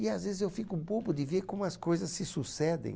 E às vezes eu fico bobo de ver como as coisas se sucedem.